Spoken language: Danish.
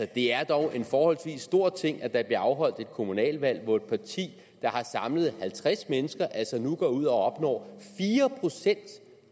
det er dog en forholdsvis stor ting at der bliver afholdt et kommunalvalg hvor et parti der har samlet halvtreds mennesker altså nu går ud og opnår fire procent